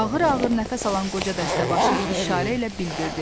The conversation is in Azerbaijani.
Ağır-ağır nəfəs alan qoca dəstəbaşı işarə ilə bildirdi.